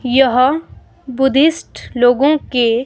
यह बुद्धिस्ट लोगों के।